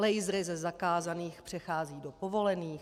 Lasery ze zakázaných přecházejí do povolených.